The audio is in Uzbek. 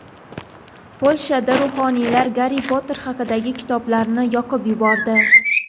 Polshada ruhoniylar Garri Potter haqidagi kitoblarni yoqib yubordi.